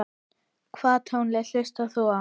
Hvaða tónlist hlustar þú á?